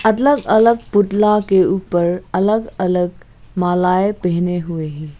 अलग अलग पुतला के ऊपर अलग अलग मालाएं पहने हुए हैं।